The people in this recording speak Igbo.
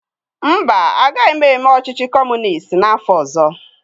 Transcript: Mba, agaghị m eme ọchịchị Kọmunist n'afọ ọzọ.